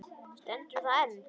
Stendur það enn?